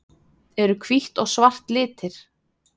Eru hvítt og svart litir?